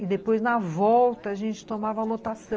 E depois, na volta, a gente tomava lotação.